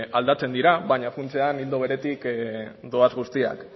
aldatzen dira baina funtsean ildo beretik doaz guztiak